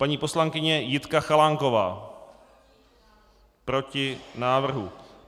Paní poslankyně Jitka Chalánková: Proti návrhu.